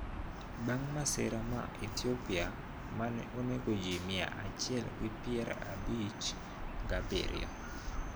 Bang` masira ma Ethiopia ma ne onego ji mia achiel gi pier abich gabiriyo